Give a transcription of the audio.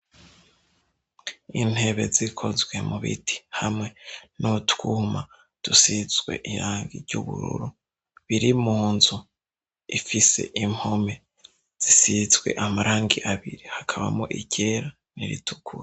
Intebe zikozwe mu biti hamwe n'utwuma dusizwe irangi ry'ubururu biri mu nzu ifise impome zisizwe amarangi abiri hakabamo iryera niritukura.